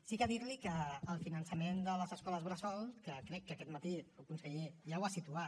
sí que dir li que el finançament de les escoles bressol que crec que aquest matí el conseller ja ho ha situat